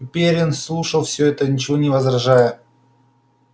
и пиренн слушал всё это ничего не возражая